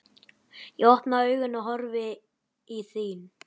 Ég opna augun og horfi í þín.